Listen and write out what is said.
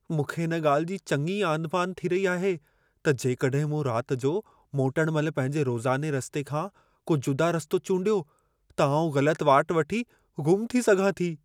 मूंखे इन ॻाल्हि जी चङी आंधिमांधि थी रही आहे त जेकॾहिं मूं रात जो मोटण महिल पंहिंजे रोज़ाने रस्ते खां को जुदा रस्तो चूंडियो त आउं ग़लतु वाट वठी, गुमु थी सघां थी।